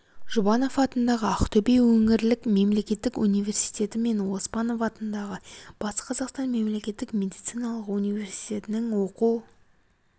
жұбанов атындағы ақтөбе өңірлік мемлекеттік университеті мен оспанов атындағы батыс қазақстан мемлекеттік медициналық университетінің оқу